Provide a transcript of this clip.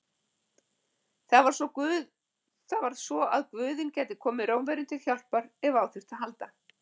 Það var svo að guðinn gæti komið Rómverjum til hjálpar ef á þurfti að halda.